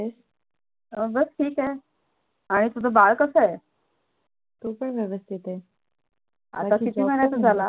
बस ठीक आहे, आणि तुझ बाळ कसंय? तो पण व्यवस्थित आहे आता किती महिन्याचा झाला?